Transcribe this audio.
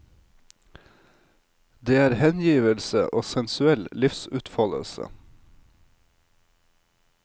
Det er hengivelse og sensuell livsutfoldelse.